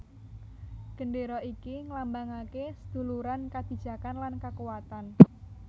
Gendéra iki ngelambangake seduluran kabijakan lan kakuatan